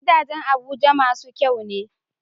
Gidajan abuja masu kyane